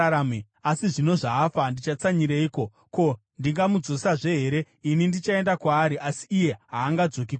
Asi zvino zvaafa, ndichatsanyireiko? Ko, ndingamudzosazve here? Ini ndichaenda kwaari, asi iye haangadzoki kwandiri.”